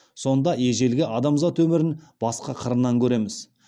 сонда ежелгі адамзат өмірін басқа қырынан көреміз